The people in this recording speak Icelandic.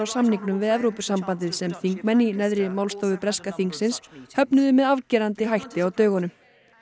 samningnum við Evrópusambandið sem þingmenn í neðri málstofu breska þingsins höfnuðu með afgerandi hætti á dögunum